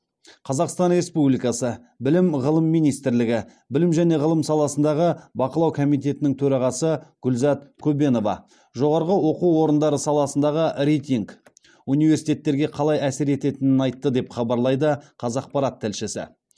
қазақстан республикасы білім ғылым министрлігі білім және ғылым саласындағы бақылау комитетінің төрағасы гүлзат көбенова жоғарғы оқу орындары саласындағы рейтинг университеттерге қалай әсер етенінін айтты деп хабарлайды қазақпарат тілшісі